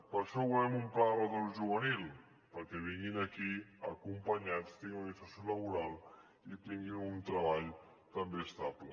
per això volem un pla de retorn juvenil perquè vinguin aquí acompanyats tinguin una inserció laboral i tinguin un treball també estable